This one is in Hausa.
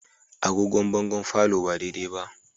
Agogon bangon palour ba daidai ba